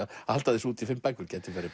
halda þessu úti í fimm bækur gæti verið